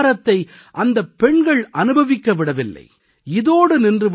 சற்றுக் கூட பாரத்தை அந்தப் பெண்கள் அனுபவிக்க விடவில்லை